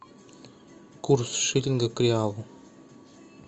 курс шиллинга к реалу